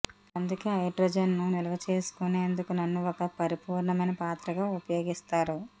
అందుకే హైడ్రోజన్ను నిల్వ చేసుకునేందుకు నన్ను ఒక పరిపూర్ణమైన పాత్రగా ఉపయోగిస్తారు